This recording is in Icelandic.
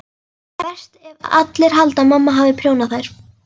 Verst ef allir halda að mamma hafi prjónað þær.